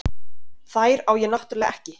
Þær á ég náttúrlega ekki.